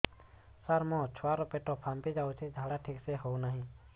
ସାର ମୋ ଛୁଆ ର ପେଟ ଫାମ୍ପି ଯାଉଛି ଝାଡା ଠିକ ସେ ହେଉନାହିଁ